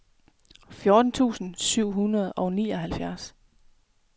fjorten tusind syv hundrede og nioghalvfjerds